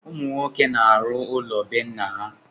Ụmụ nwoke na-arụ ụlọ bé nna ya.